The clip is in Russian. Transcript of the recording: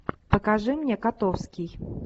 покажи мне котовский